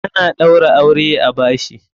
Ana ɗaura aure a bashi.